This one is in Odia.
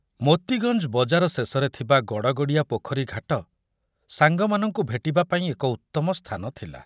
ମୋତିଗଞ୍ଜ ବଜାର ଶେଷରେ ଥିବା ଗଡ଼ଗଡ଼ିଆ ପୋଖରୀ ଘାଟ ସାଙ୍ଗ ମାନଙ୍କୁ ଭେଟିବାପାଇଁ ଏକ ଉତ୍ତମ ସ୍ଥାନ ଥିଲା।